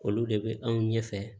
Olu de bɛ anw ɲɛfɛ